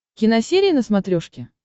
киносерия на смотрешке